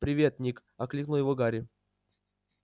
привет ник окликнул его гарри